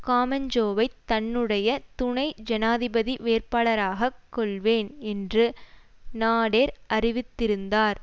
காமெஜோவைத் தன்னுடைய துணை ஜனாதிபதி வேட்பாளராகக் கொள்வேன் என்று நாடெர் அறிவித்திருந்தார்